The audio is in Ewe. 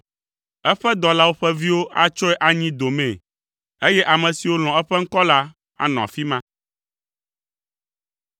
eƒe dɔlawo ƒe viwo atsɔe anyi domee, eye ame siwo lɔ̃ eƒe ŋkɔ la anɔ afi ma.